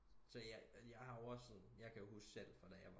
Så jeg har jo også sådan jeg kan huske fra jeg selv fra da jeg var